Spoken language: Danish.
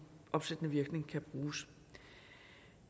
opsættende virkning kan bruges